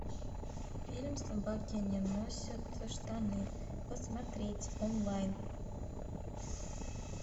фильм собаки не носят штаны посмотреть онлайн